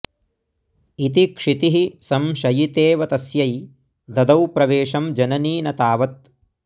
इति क्षितिः संशयितेव तस्यै ददौ प्रवेशं जननी न तावथ्